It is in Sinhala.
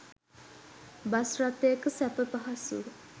බස් රථයක සැප පහසුව